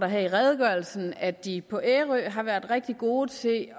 her i redegørelsen at de på ærø har været rigtig gode til